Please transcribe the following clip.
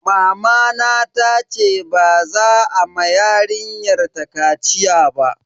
Mamana tace ba za a ma yarinyar ta kaciya ba.